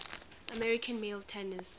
american male tennis players